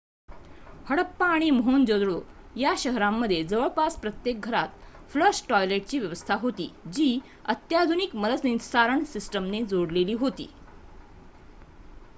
हडप्पा आणि मोहेंजो-दारो या शहरांमध्ये जवळजवळ प्रत्येक घरात फ्लश टॉयलेटची व्यवस्था होती जी अत्याधुनिक मलनिस्सारण सिस्टमने जोडलेली होती